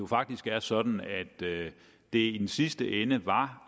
faktisk er sådan at det det i sidste ende var